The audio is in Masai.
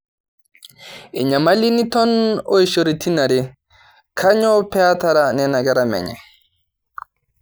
Enyamali niton oishoritin are kanyoo petaara nena kera menye